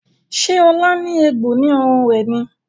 Ṣe Ola ní egbò ní ọrùn rẹ ní?